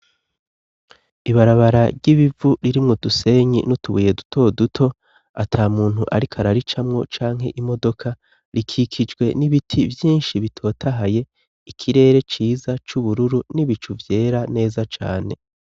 Ibarabara ry'ibivu ririmwo udusenyi n'utubuye duto duto, ata muntu ariko araricamwo canke imodoka, rikikijwe n'ibiti vyinshi bitotahaye; ikirere ciza c'ubururu n'ibicu vyera neza cane.